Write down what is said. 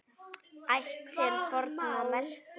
Ætt til forna merkir hér.